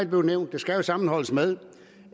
blevet nævnt sammenholdes med